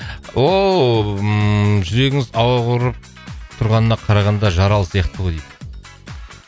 ооо ммм жүрегіңіз ауырып тұрғанына қарағанда жаралы сияқты ғой дейді